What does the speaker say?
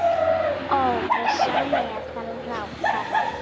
Óvissa meðal ráðherra